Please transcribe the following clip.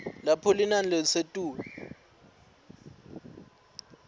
lapho linani lelisetulu